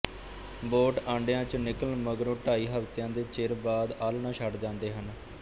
boat ਆਂਡਿਆਂ ਚੋਂ ਨਿਕਲਣ ਮਗਰੋਂ ਢਾਈ ਹਫ਼ਤਿਆਂ ਦੇ ਚਿਰ ਬਾਅਦ ਆਲ੍ਹਣਾ ਛੱਡ ਜਾਂਦੇ ਹਨ